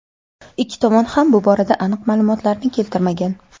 Ikki tomon ham bu borada aniq ma’lumotlarni keltirmagan.